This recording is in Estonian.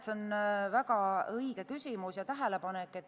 See on väga õige küsimus ja tähelepanek.